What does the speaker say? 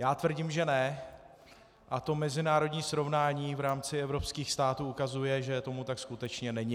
Já tvrdím, že ne, a to mezinárodní srovnání v rámci evropských států ukazuje, že tomu tak skutečně není.